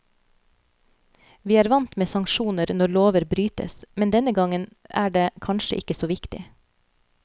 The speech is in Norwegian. Vi er vant med sanksjoner når lover brytes, men denne gangen er det kanskje ikke så viktig.